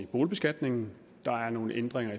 boligbeskatningen der er nogle ændringer